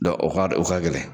o ka o ka gɛlɛn